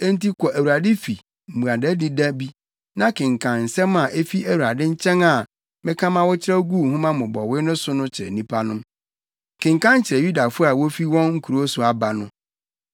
Enti kɔ Awurade fi mmuadadi da bi na kenkan nsɛm a efi Awurade nkyɛn a meka ma wokyerɛw guu nhoma mmobɔwee no so no kyerɛ nnipa no. Kenkan kyerɛ Yudafo a wofi wɔn nkurow so aba no.